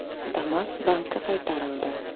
Damas bankka qaytarildi.